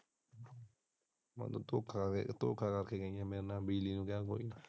ਮੈਨੂੰ ਮੇਰੇ ਨਾਲ ਧੋਖਾ ਕਹਿ ਕੇ ਗਈ ਹੈ ਕਿ ਬਿਜਲੀ ਨੇ ਜਾਣਾ ਕੋਈ ਨਹੀਂ।